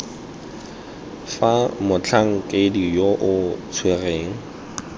fa motlhankedi yo o tshwereng